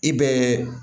I bɛ